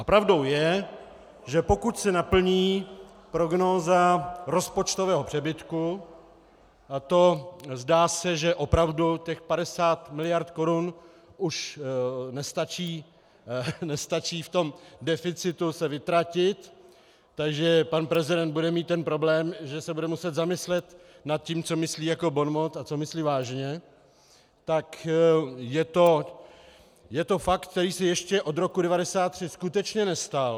A pravdou je, že pokud se naplní prognóza rozpočtového přebytku, a to zdá se, že opravdu těch 50 miliard korun už nestačí v tom deficitu se vytratit - takže pan prezident bude mít ten problém, že se bude muset zamyslet nad tím, co myslí jako bonmot a co myslí vážně -, tak je to fakt, který si ještě od roku 1993 skutečně nestal.